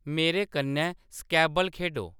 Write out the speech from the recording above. मेरे कन्नै स्क्रैबल खेढो